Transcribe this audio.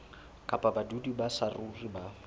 kapa badudi ba saruri ba